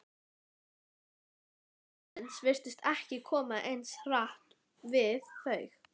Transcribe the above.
alvara lífsins virtist ekki koma eins hart við þau.